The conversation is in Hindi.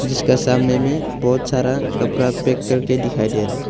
जिसका सामने में बहोत सारा कपड़ा पैक कर के दिखाई दे रहा--